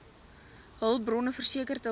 hulpbronne verseker terwyl